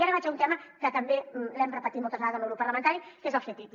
i ara vaig a un tema que també l’hem repetit moltes vegades el meu grup parlamentari que és el ctti